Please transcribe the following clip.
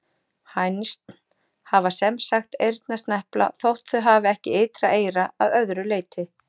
Hænsn hafa sem sagt eyrnasnepla þótt þau hafi ekki ytra eyra að öðru leyti.